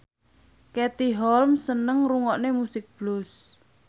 Katie Holmes seneng ngrungokne musik blues